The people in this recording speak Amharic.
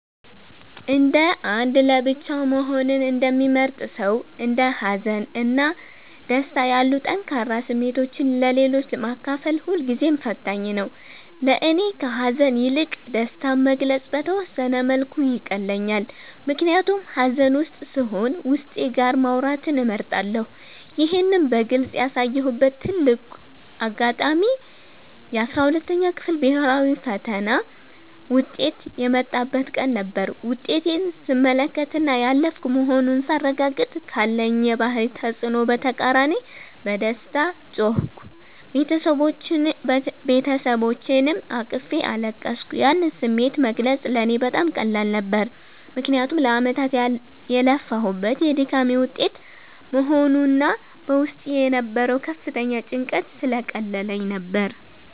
እንደ አንድ ለብቻው መሆንን እንደሚመርጥ ሰው፣ እንደ ሀዘን እና ደስታ ያሉ ጠንካራ ስሜቶችን ለሌሎች ማካፈል ሁልጊዜም ፈታኝ ነው። ለእኔ ከሐዘን ይልቅ ደስታን መግለጽ በተወሰነ መልኩ ይቀለኛል፤ ምክንያቱም ሐዘን ውስጥ ስሆን ዉስጤ ጋር ማውራትን እመርጣለሁ። ይህን በግልጽ ያሳየሁበት ትልቁ አጋጣሚ የ12ኛ ክፍል ብሔራዊ ፈተና ውጤት የመጣበት ቀን ነበር። ውጤቴን ስመለከትና ያለፍኩ መሆኑን ሳረጋግጥ፤ ካለኝ የባህሪ ተጽዕኖ በተቃራኒ በደስታ ጮህኩ፤ ቤተሰቦቼንም አቅፌ አለቀስኩ። ያን ስሜት መግለጽ ለእኔ በጣም ቀላል ነበር፤ ምክንያቱም ለዓመታት የለፋሁበት የድካሜ ውጤት በመሆኑና በውስጤ የነበረው ከፍተኛ ጭንቀት ስለቀለለልኝ ነበር።